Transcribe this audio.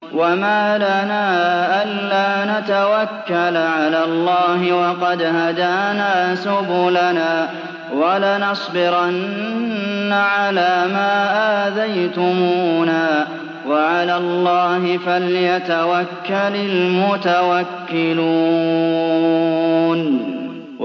وَمَا لَنَا أَلَّا نَتَوَكَّلَ عَلَى اللَّهِ وَقَدْ هَدَانَا سُبُلَنَا ۚ وَلَنَصْبِرَنَّ عَلَىٰ مَا آذَيْتُمُونَا ۚ وَعَلَى اللَّهِ فَلْيَتَوَكَّلِ الْمُتَوَكِّلُونَ